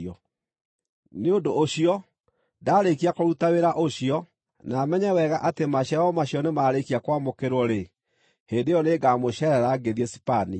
Nĩ ũndũ ũcio ndaarĩkia kũruta wĩra ũcio, na menye wega atĩ maciaro macio nĩ marĩkia kwamũkĩrwo-rĩ, hĩndĩ ĩyo nĩngamũceerera ngĩthiĩ Sipania.